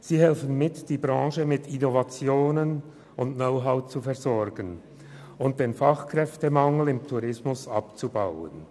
Sie helfen mit, die Branche mit Innovationen und Know-how zu versorgen und den Fachkräftemangel im Tourismus abzubauen.